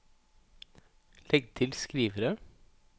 legg til skrivere